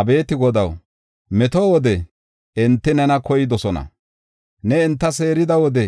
Abeeti Godaw, meto wode enti nena koydosona. Ne enta seerida wode